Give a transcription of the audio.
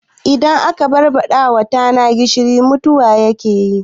Idan aka barbaɗawa tana gishiri mutuwa take